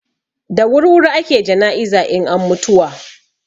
Da wurwuri ake jana'iza in an mutuwa.